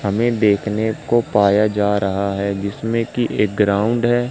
हमें देखने को पाया जा रहा है जिसमें कि एक ग्राउंड है।